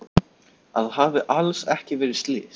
Að það hafi alls ekki verið slys.